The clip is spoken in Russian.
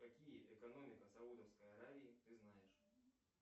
какие экономика саудовской аравии ты знаешь